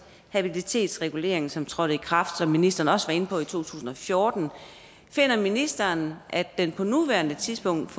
habilitetsreguleringen som trådte i kraft som ministeren også var inde på i 2014 finder ministeren at den på nuværende tidspunkt